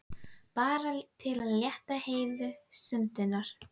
Bara til að létta Heiðu stundirnar.